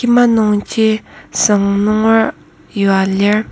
kima nungji süng nunger yua lir.